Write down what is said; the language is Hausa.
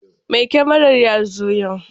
Mai kyamarar ya zo yau.